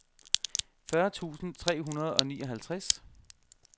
fyrre tusind tre hundrede og nioghalvtreds